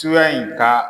Tuya in ka